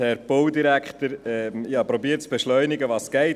der BaK. Ich habe versucht zu beschleunigen, soweit es geht.